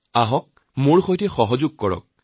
আহক আমাৰ সৈতে সহযোগ কৰক